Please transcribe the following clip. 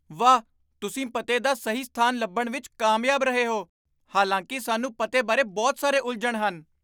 ਵਾਹ! ਤੁਸੀਂ ਪਤੇ ਦਾ ਸਹੀ ਸਥਾਨ ਲੱਭਣ ਵਿੱਚ ਕਾਮਯਾਬ ਰਹੇ ਹੋ, ਹਾਲਾਂਕਿ ਸਾਨੂੰ ਪਤੇ ਬਾਰੇ ਬਹੁਤ ਸਾਰੇ ਉਲਝਣ ਹਨ।